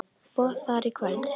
Boð þar í kvöld.